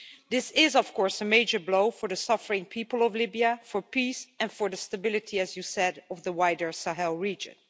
This is, of course, a major blow for the suffering people of Libya, for peace, and for the stability as you said of the wider Sahel region.